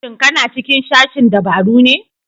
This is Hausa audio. Shin ka na cikin sashen dabaru ne?